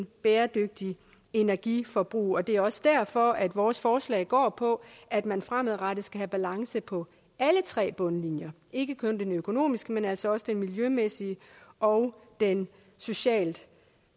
bæredygtigt energiforbrug det er også derfor at vores forslag går på at man fremadrettet skal have balance på alle tre bundlinjer ikke kun på den økonomiske men altså også på den miljømæssige og den socialt